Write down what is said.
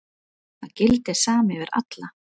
Það gildir sama yfir alla.